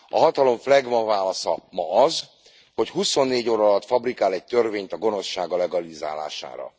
A hatalom flegma válasza ma az, hogy huszonnégy óra alatt fabrikál egy törvényt a gonoszsága legalizálására.